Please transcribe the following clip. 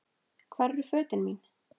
Hvar eru fötin mín.?